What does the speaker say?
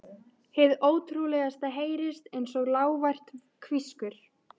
Hið ótrúlegasta heyrist einsog lágvært hvískur.